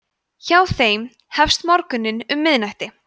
hjá þeim hefst morgunn um miðnætti